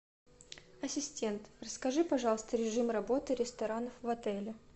ассистент расскажи пожалуйста режим работы ресторанов в отеле